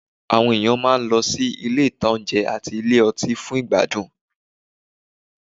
Àwọn èèyàn máa lọ sí àwọn ilé-ìtánjẹ àti ilé ọtí fún ìgbádùn